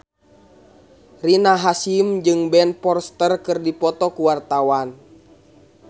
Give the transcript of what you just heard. Rina Hasyim jeung Ben Foster keur dipoto ku wartawan